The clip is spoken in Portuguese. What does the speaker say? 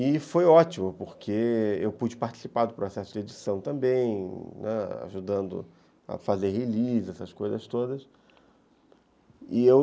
E foi ótimo, porque eu pude participar do processo de edição também, né, ajudando a fazer release, essas coisas todas. E eu